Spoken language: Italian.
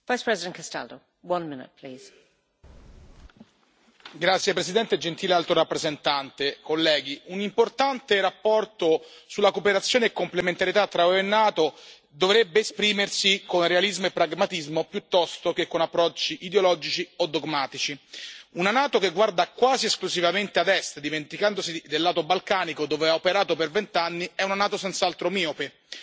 Signora Presidente, onorevoli collegi, gentile Alto rappresentante, un'importante relazione sulla cooperazione e complementarietà tra UE e NATO dovrebbe esprimersi con realismo e pragmatismo piuttosto che con approcci ideologici o dogmatici. Una NATO che guarda quasi esclusivamente ad Est, dimenticandosi del lato balcanico dove ha operato per vent'anni, è una NATO senz'altro miope.